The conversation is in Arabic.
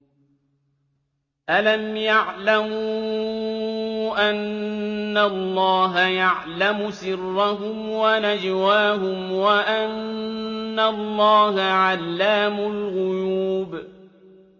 أَلَمْ يَعْلَمُوا أَنَّ اللَّهَ يَعْلَمُ سِرَّهُمْ وَنَجْوَاهُمْ وَأَنَّ اللَّهَ عَلَّامُ الْغُيُوبِ